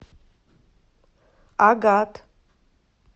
агат